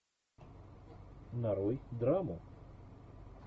нарой драму